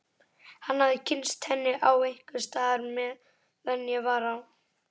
Hann hafði kynnst henni einhvers staðar meðan ég var á